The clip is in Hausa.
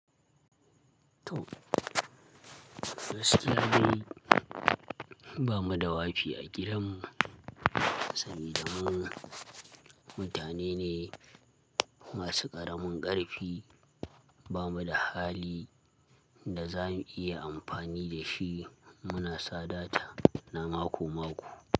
To, wasu labarai bamu da wafi a gidanmu saboda mun mutane ne masu ƙaramin ƙarfi, ba mu da hali da za mu iya amfani da shi muna sadata na mako-mako.